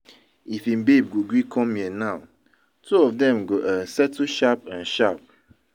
If im babe go gree come here now, two of dem go um settle sharp um sharp